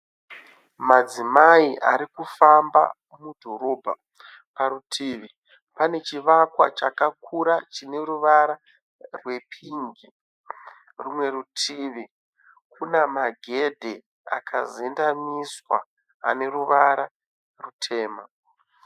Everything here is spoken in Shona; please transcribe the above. Madzimai arikufamba mudhorobha, parutivi pane chivakwa chakakura chine ruvara rwepingi, rumwe rutivi kuna magedhe akazendamiswa aneruvara rutema.